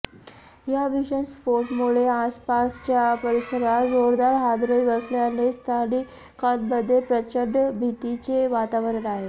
या भीषण स्फोटामुळे आसपासच्या परिसरात जोरदार हादरे बसल्याने स्थानिकांमध्ये प्रचंड भीतीचे वातावरण आहे